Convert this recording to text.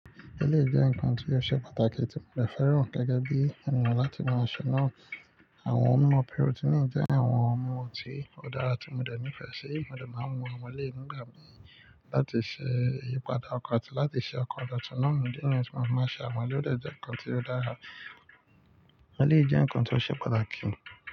Ẹ̀lẹ́yii jẹ̀ nkán tí ó ṣe pàtàkì tí mo bẹ̀ fẹ́ràn gẹ́gẹ́ bí eniyan láti maa ṣe nà. Àwọn ọ̀mọ̀ pírótínì jẹ̀ àwọn ọ̀mọ̀ tí ó dára tí mo dé nífẹ̀ ṣe. Mo dẹ̀ má ń mú àwon éléyì nígbàmì láti ṣẹ́ ìyípadà ọkọ̀ àti láti ṣẹ́ ọkọ̀ ọ̀dọ̀túnà mi. Ní ìní ọ̀túnà má ṣà ọ̀mọ̀lẹ́ jẹ̀ nkán tí ó dára. Ọ̀mọ̀lẹ́ jẹ̀ nkán tí ó ṣe pàtàkì.